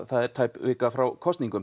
tæp vika frá kosningum